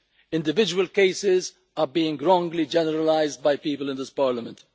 Individual cases are being wrongly generalised by people in this Parliament.